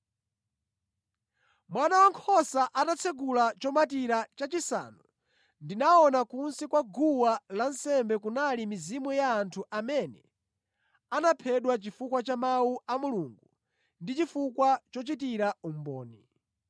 Mwana Wankhosa atatsekula chomatira chachisanu, ndinaona kunsi kwa guwa lansembe kunali mizimu ya anthu amene anaphedwa chifukwa cha Mawu a Mulungu ndi chifukwa chochitira umboni.